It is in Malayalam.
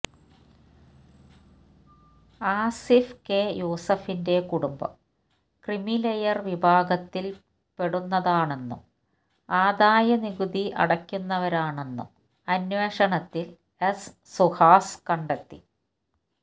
ആസിഫ് കെ യൂസഫിന്റെ കുടുംബം ക്രീമിലയര് വിഭാഗത്തില് പ്പെടുന്നതാണെന്നും ആദായനികുതി അടയ്ക്കുന്നവരാണെന്നും അന്വേഷണത്തില് എസ് സുഹാസ് കണ്ടെത്തി